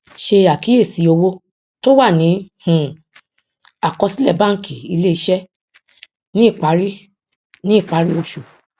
ṣe àkíyèsí owó tó wà ní um àkọsílè bánkì ilé iṣé ní ìparí ní ìparí oṣù